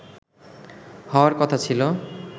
হওয়ার কথা ছিল